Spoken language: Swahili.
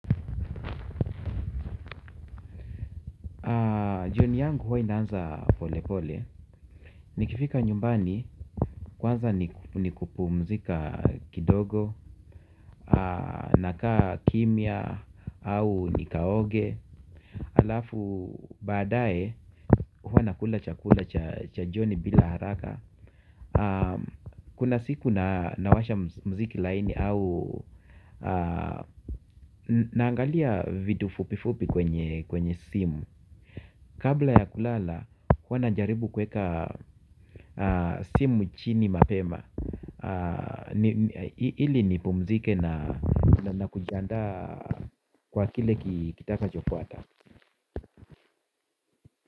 Jioni yangu huwa inaanza pole pole, nikifika nyumbani, kwanza nikupumzika kidogo, nakaa kimya au nikaoge. Alafu baadaye huwa nakula chakula cha joni bila haraka. Kuna siku nawasha muziki laini au naangalia video fupi fupi kwenye simu. Kabla ya kulala, huwa najaribu kuweka simu chini mapema ili nipumzike na kujiandaa kwa kile kitakachofuata.